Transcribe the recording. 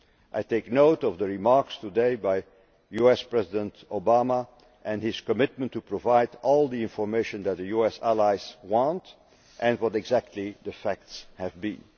I take note of the remarks today by US President Barack Obama and his commitment to provide all the information that US allies want and what exactly the facts have been.